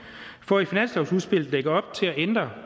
for i finanslovsudspillet at lægge op til at ændre